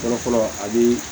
Fɔlɔ fɔlɔ a bi